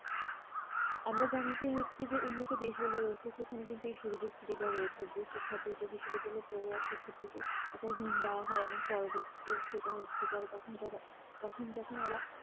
আমরা জানি যে হচ্ছে যে উন্নত দেশ গুলো রয়েছে সেখানে কিন্তু এই সুযোগসুবিধা রয়েছে যে শিক্ষার্থীতে বিশ্ববিদ্যালয় পড়ে রাখে একটা দেওয়া হয় এবং পরবর্তী দিন সেটা হচ্ছে যারা তখন যারা তখন যখন ওরা